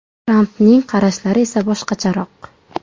Trampning qarashlari esa boshqacharoq.